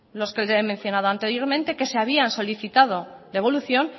los que le he mencionado anteriormente que se habían solicitado devolución